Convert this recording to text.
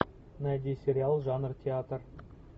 найди сериал жанр театр